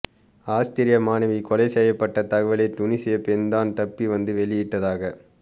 Austria மாணவி கொலை செய்யப்பட்ட தகவலை துனிசிய பெண்தான் தப்பி வந்து வெளியிட்டதாக